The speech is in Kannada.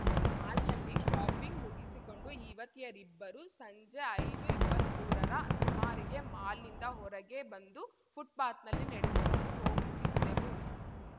ಮಾಲ್‌ನಲ್ಲಿ ಶಾಪಿಂಗ್‌ ಮುಗಿಸಿಕೊಂಡು ಯುವತಿಯರಿಬ್ಬರು ಸಂಜೆ ಐದುಇಪ್ಪತ್ಮುರರ ಸುಮಾರಿಗೆ ಮಾಲ್‌ನಿಂದ ಹೊರಗೆ ಬಂದು ಫುಟ್‌ಪಾತ್‌ನಲ್ಲಿ ನಡೆದುಕೊಂಡು ಹೋಗುತ್ತಿದ್ದೆವು